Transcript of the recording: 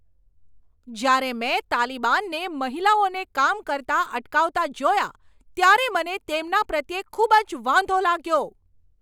જ્યારે મેં તાલિબાનને મહિલાઓને કામ કરતા અટકાવતા જોયા, ત્યારે મને તેમના પ્રત્યે ખૂબ જ વાંધો લાગ્યો.